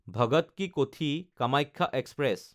Bhagat ki Kothi Kamakhya express